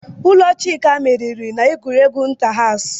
Ụlọ Chuka meriri n'egwuregwu inta-haws.